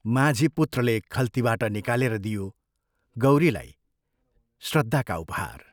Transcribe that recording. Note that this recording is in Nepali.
माझी, पुत्रले खल्तीबाट निकालेर दियो गौरीलाई श्रद्धाका उपहार!